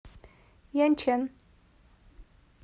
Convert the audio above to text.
яньчэн